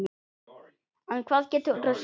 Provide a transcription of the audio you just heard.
En hvað geturðu sagt?